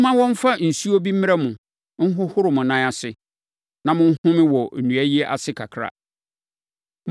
Momma wɔmfa nsuo bi mmrɛ mo nhohoro mo nan ase, na monhome wɔ nnua yi ase kakra.